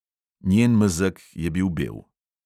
Njen mezeg je bil bel.